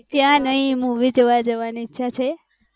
ત્યાં નાય movie જોવા જોવાની ઈચ્છા છે